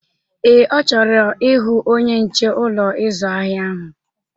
Ee, ọ chọrọ ịhụ onye nche Ụlọ ịzụ ahịa ahụ.